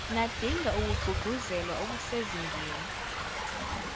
nadinga ukugqugquzelwa okusezingeni